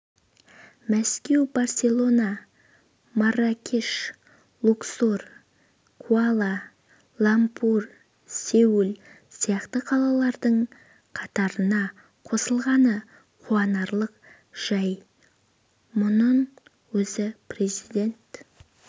мәскеу барселона марракеш луксор куала-лумпур сеул сияқты қалалардың қатарына қосылғаны қуанарлық жай мұның өзі президент